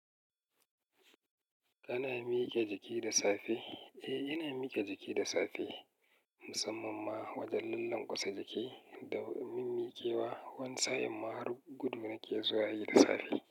Kana mike jiki da safe? Eh, ina mike jiki da safe, musamman ma wajen lallen kusa jiki. Da min mikewa, wani sa'in ma har gudu nake zuwa yi da safe.